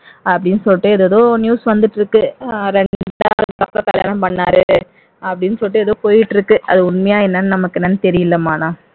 அப்படின்னு சொல்லிட்டு ஏதேதோ நியூஸ் வந்துட்டு இருக்கு இரண்டாவது அதுக்கப்புறம் கல்யாணம் பண்ணாரு அப்படின்னு சொல்லிட்டு ஏதோ போயிட்டு இருக்கு அது உண்மையா என்னன்னு நமக்கு ஒன்னும் தெரியலம்மா ஆனா